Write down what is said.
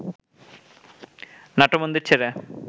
নাট্যমন্দির ছেড়ে